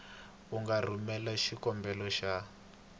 u nga rhumelela xikombelo xa